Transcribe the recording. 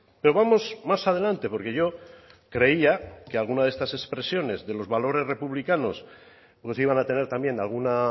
pero vamos más adelante porque yo creía que alguna de estas expresiones de los valores republicanos pues iban a tener también alguna